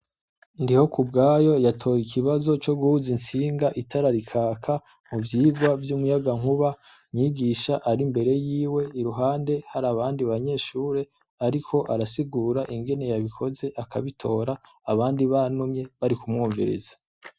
Ndihokubwayo yatoye ikibazo co guhuza intsinga itara rikaka muvyirwa vy'umuyagankuba, mwigisha ari imbere yiwe iruhande harabandi banyeshure, ariko arasigura ingene yabikoze akabitora, abandi banumye bari kumwumviriza.